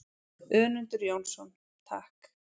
Önundur Jónsson: Takk.